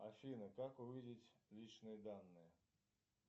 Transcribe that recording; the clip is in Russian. афина как увидеть личные данные